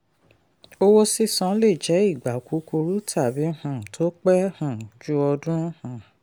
owó sísan lè jẹ́ ìgbà kúkúrú tàbí um tó pé um jù ọdún. um